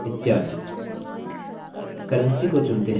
currency को चुनते हैं